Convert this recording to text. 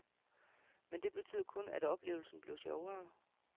Men det betød kun, at oplevelsen blev sjovere.